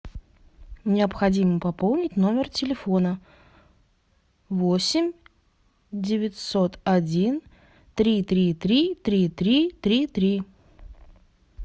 необходимо пополнить номер телефона восемь девятьсот один три три три три три три три